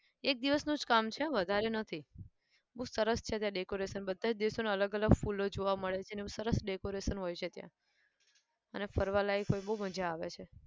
એક દિવસનું જ કામ છે હો વધારે નથી. બહુ સરસ છે ત્યાં decoration બધા જ દેશોના અલગ અલગ ફૂલો જોવા મળે છે અને એવું સરસ decoration હોય છે ત્યાં અને ફરવા લાયક હોય બહુ મજા આવે છે.